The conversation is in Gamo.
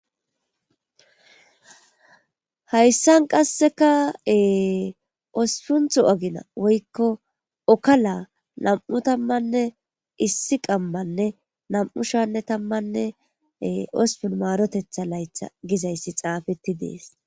Hayssan qassekae ospuntho agina woykko okala nam,u tammanne issi qammanne nam,u shanne tammanne ospun maarotetha laytha gizayssi xaafetti dees.